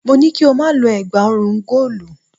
Mo ní kí o má lo ẹ̀gbá ọrùn góòlù.